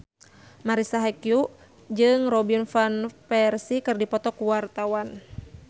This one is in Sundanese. Marisa Haque jeung Robin Van Persie keur dipoto ku wartawan